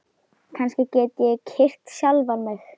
Kannski get ég kyrkt sjálfan mig?